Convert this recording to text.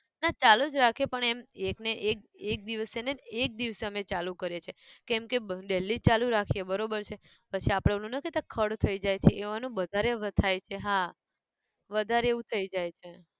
ના ચાલુ જ રાખીએ પણ એમ એક ને એક એક દિવસે જ ને એક દિવસે અમે ચાલુ કરીએ છે કેમકે બ daily ચાલુ રાખીએ બરોબર છે પછી આપણે ઓલું નાઈ કેતા ખળ થઇ જાય છે એવાનું બધારે વ થાય છે હા વધાર એવું થઇ જાય છે